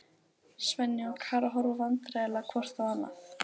Svenni og Klara horfa vandræðaleg hvort á annað.